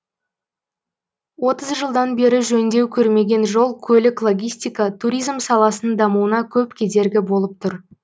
отыз жылдан бері жөндеу көрмеген жол көлік логистика туризм саласының дамуына көп кедергі болып тұр